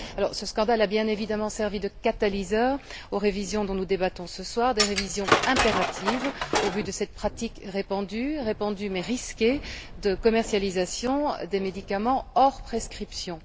Ce scandale a bien évidemment servi de catalyseur aux révisions dont nous débattons ce soir, révisions impératives au vu de cette pratique répandue mais risquée de commercialisation de médicaments hors prescription.